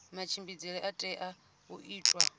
matshimbidzele a tea u itiwa